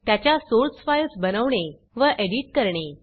त्याच्या source files बनवणे व एडिट करणे